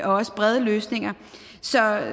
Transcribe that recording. også brede løsninger så nej